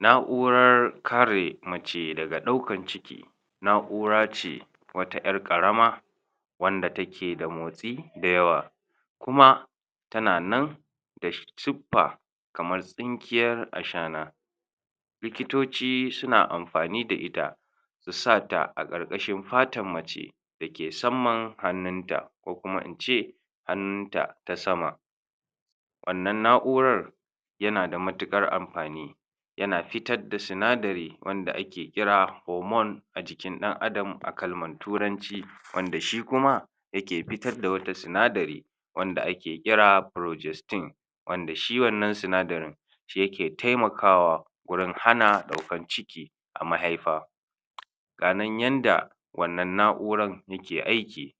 na'urar kare mace daga ɗaukan ciki wata ƴar ƙarama wanda take da motsi da yawa kuma tana nan siffa kamar tsinkiyar ashana likitoci susn amfani da ita a sata a ƙarƙashin fatan mace dake samman hanunta ko kuma ince hannunta ta sama wannan na'urar yana da matuƙar amfani yana fitar da sinadari wanda ake kira hormone a jikin ɗan adam a kalman turanci wanda shi kuma yake fitar da wata sinadari wanda ake kira projesting wanda shi wannan sinadarin shi yake taimakawa wurin hana ɗaukar ciki a mahaifa ganan yanda wannan na'urar yake aiki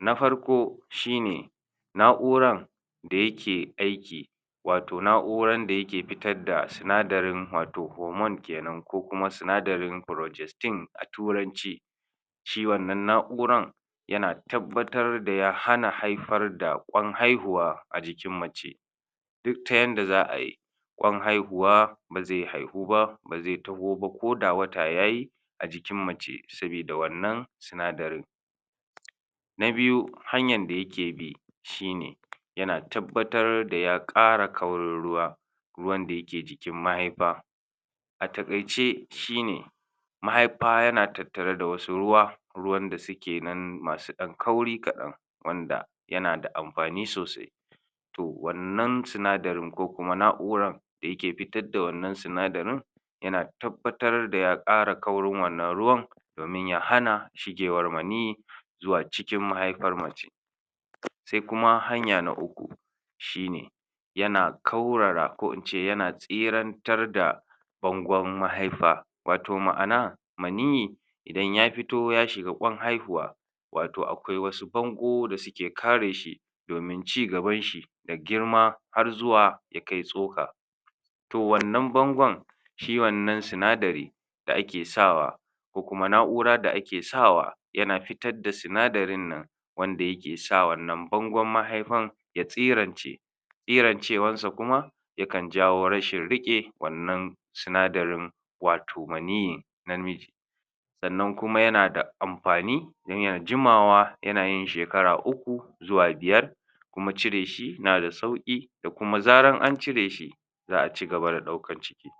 na farko shine na'uran da yake aiki wato na'uran da yake fitar da sinadarin wato hormone kenan ko kuma sinadarin projesting a turanci shi wannan na'uran yana tabbatar da ya hana haifar da ƙwan haihuwa a jikin mace duk ta yanda za ayi ƙwai haihuwa ba zai haihu ba ba zai taho ba ko da wata yayi a jikin mace sabida sinadarin na biyu hanyan da yake bi shine yana tabbatar da ya ƙara kaurin ruwa ruwan da yake jikin mahaifa a taƙaice shine mahaifa yana tattare da wasu ruwa ruwan da suke nan masu ɗan kauri kaɗan wanda yana da amfani sosai wannan sinadarin ko kuma na'uran da yake fitar da wannan sinadarin yana tabbatar daya ƙara kaurin wannan ruwan domin ya hana shigewar maniyyi zuwa cikin mahaifar mace sai kuma na uku shine yana kaurara ko ince yana tsirantar da bangun mahaifa wato ma'ana maniyyi idan ya fito ya shiga ƙwan haihuwa wato aƙwai wasu bangu da suke kareshi domin cigabanshi da girma har zuwa ya kai tsuka to wannan bangun shi wannan sinadari da ake sawa ko kuma na'ura da ake sawa yana fitat da sinadarin nan wanda yakesa wannan bangun mahaifan tsirance tsirancewan sa kuma yakan jawo rashin riƙe wannan sinadarin wato maniyyin namiji sannan kuma yana da amfani niyyar jimawa yana yn shekara uku zuwa buyar kuma cireshi yana da sauƙi da kuma da zaran ancire shi za a cigaba da ɗaukar ciki